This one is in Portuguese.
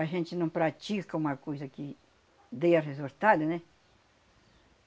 A gente não pratica uma coisa que dê resultado, né?